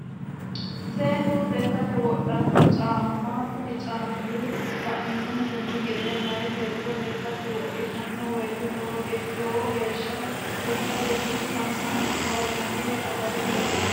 Seenu lekate wodhanno caama, kuni caami la'numontenni gede meya beeto lekate wodhitano woyite lowo heesha lekkate biifenna gawajjanore agare leelano